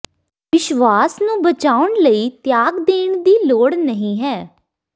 ਵਿਸ਼ਵਾਸ ਨੂੰ ਬਚਾਉਣ ਲਈ ਤਿਆਗ ਦੇਣ ਦੀ ਲੋੜ ਨਹੀਂ ਹੈ